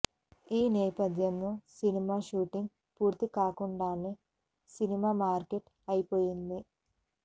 ఈ నేపధ్యంలో cinema shooting పూర్తి కాకుండానే సినిమా మార్కెట్ అయిపొయింది